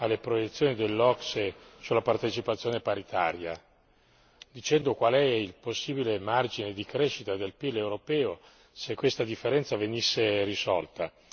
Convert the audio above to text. alle proiezioni dell'OCSE sulla partecipazione paritaria, dicendo qual è il possibile margine di crescita del PIL europeo se questa differenza venisse risolta.